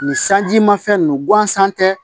Nin sanji ma fɛn ninnu guwansan tɛ